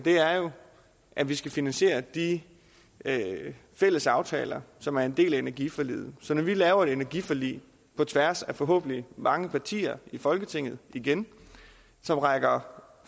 at vi skal finansiere de fælles aftaler som er en del af energiforliget så når vi laver et energiforlig på tværs af forhåbentlig mange partier i folketinget igen som rækker